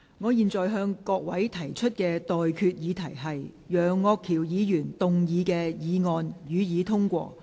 我現在向各位提出的待決議題是：楊岳橋議員動議的議案，予以通過。